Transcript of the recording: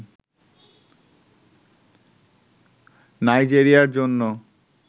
নাইজেরিয়ার জন্য